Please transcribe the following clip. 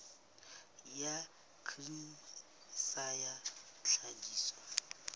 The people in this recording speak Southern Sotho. ya grain sa ya tlhahiso